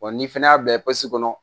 Wa ni fɛnɛ y'a bɛɛ kɔnɔ